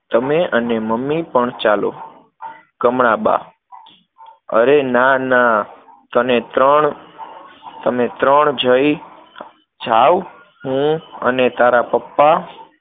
તમે અને મમ્મી પણ ચાલો. કમળાબા અરે ના ના, તને ત્રણ, તમે ત્રણ જઈ, જાઓ. હું અને તારા પપ્પા